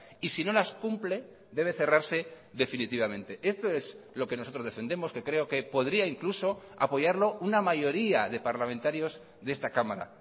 y si no las cumple debe cerrarse definitivamente esto es lo que nosotros defendemos que creo que podría incluso apoyarlo una mayoría de parlamentarios de esta cámara